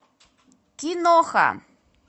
киноха